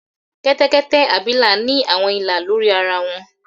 kẹtẹkẹtẹ abila ni awọn ila lori ara wọn.